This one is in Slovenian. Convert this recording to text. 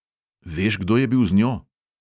Veš, kdo je bil z njo?